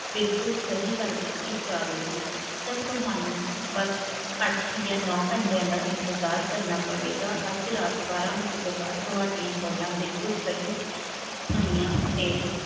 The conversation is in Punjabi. ਬਿਲਕੁਲ ਸਹੀ ਕਰ ਦਿੱਤੀ ਜਾਵੇਗੀ sir ਤੁਹਾਨੂੰ ਬਸ ਅੱਠ ਜਾ ਨੌਂ ਘੰਟਿਆਂ ਦਾ ਇੰਤਜਾਰ ਕਰਨਾ ਪਵੇਗਾ, ਅੱਜ ਰਾਤ ਬਾਰਾਂ ਵਜੇ ਤੋਂ ਬਾਅਦ ਤੁਹਾਡੀਆਂ calls ਬਿਲਕੁਲ ਸਹੀ ਸੁਣੀਆਂ ਤੇ